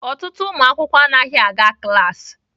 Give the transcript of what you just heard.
Ọtụtụ ụmụ akwụkwọ anaghị aga klaasị.